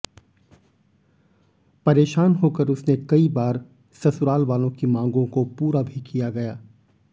परेशान होकर उसने कई बार ससुरालवालों की मांगों को पूरा भी किया गया